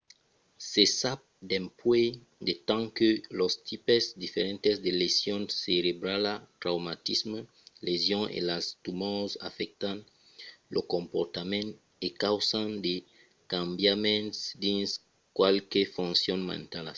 se sap dempuèi de temps que los tipes diferents de lesion cerebrala traumatismes lesions e las tumors afèctan lo comportament e causan de cambiaments dins qualques foncions mentalas